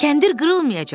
Kəndir qırılmayacaq.